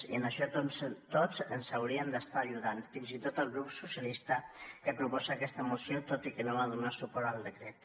i en això tots ens haurien d’estar ajudant fins i tot el grup socialista que proposa aquesta moció tot i que no va donar suport al decret